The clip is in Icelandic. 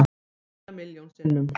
Stundum eiginlega milljón sinnum.